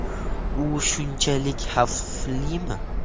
U shunchalik xavflimi?